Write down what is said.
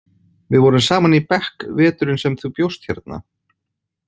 Við vorum saman í bekk veturinn sem þú bjóst hérna.